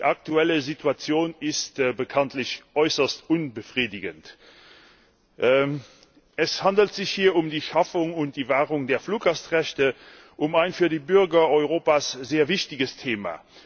Die aktuelle Situation ist bekanntlich äußerst unbefriedigend. Es handelt sich um die Schaffung und Wahrung der Fluggastrechte, um ein für die Bürger Europas sehr wichtiges Thema.